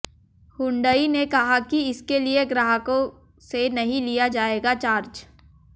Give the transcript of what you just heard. Hyundai ने कहा कि इसके लिए ग्राहकों से नहीं लिया जाएगा चार्ज